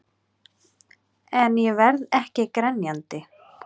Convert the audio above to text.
En ég verð ekki grenjandi.